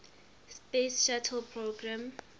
space shuttle program